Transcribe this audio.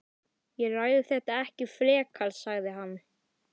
Ég ræði þetta ekki frekar sagði hann.